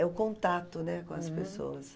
É o contato, né, com as pessoas.